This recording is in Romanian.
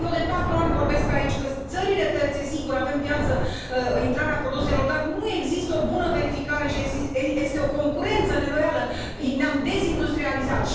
Eu de patru ani vorbesc aici că țările terțe sigur, avem piață, intrarea produselor dar nu există o bună verificare și este o concurență neloială, ne am dezindustrializat.